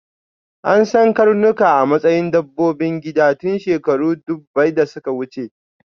An san karnuka a matsayin dabbobin gida tun shekaru ɗubbai da suka wuce.